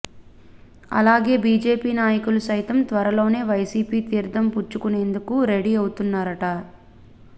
అలాగే బీజేపీ నాయకులు సైతం త్వరలోనే వైసీపీ తీర్థం పుచ్చుకునేందుకు రెడీ అవుతున్నారట